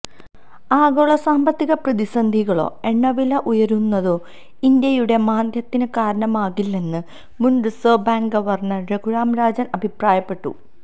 ആഗോള സാമ്പത്തിക പ്രതിസന്ധികളോ എണ്ണവില ഉയരുന്നതോ ഇന്ത്യയുടെ മാന്ദ്യത്തിന് കാരണമാകില്ലെന്ന് മുൻ reserve bank governor Raghuram Rajan അഭിപ്രായപ്പെട്ടു